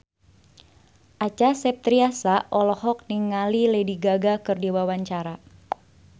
Acha Septriasa olohok ningali Lady Gaga keur diwawancara